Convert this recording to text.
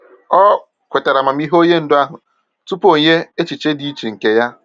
O kwetara amamihe onye ndu ahụ tupu o nye echiche dị iche nke ya.